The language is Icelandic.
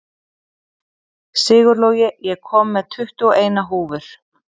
Sigurlogi, ég kom með tuttugu og eina húfur!